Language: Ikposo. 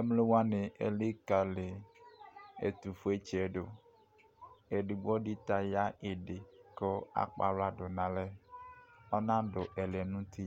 emlo wani elikali ɛto fue tsiɛ do edigbo di ta ya idi ko akɔ ala do no alɛ ɔnado ɛlɛ no uti